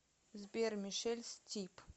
сбер мишель стип